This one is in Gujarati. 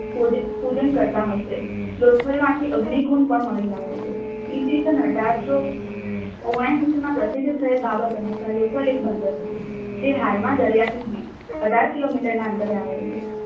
પૂજન કરતા હશે. લોથલ માંથી અગ્નિ કુંજ પણ મળી આવે છે. ઈ. સ. અઢારસો ઓગણાએંસીમાં પ્રસિદ્ધ થયેલ બાબત અનુસાર લોથલ એ બંદર હતું. તે હાલમાં દરિયાથી અઢાર કિલોમીટરના અંતરે આવેલું છે.